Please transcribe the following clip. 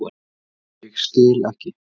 Ég skil ekki.